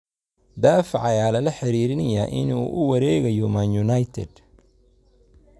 Daafaca ayaa lala xiriirinayay inuu u wareegayo Man United.